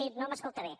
sí no m’escolta bé